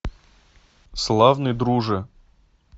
славный друже